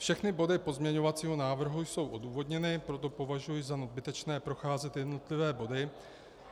Všechny body pozměňovacího návrhu jsou odůvodněny, proto považuji za nadbytečné procházet jednotlivé body.